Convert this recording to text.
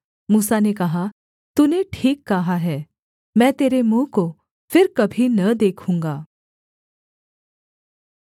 मूसा ने कहा तूने ठीक कहा है मैं तेरे मुँह को फिर कभी न देखूँगा